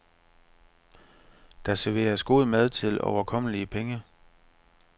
Der serveres god mad til overkommelige penge.